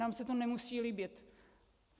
Nám se to nemusí líbit.